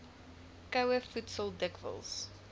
koue voedsel dikwels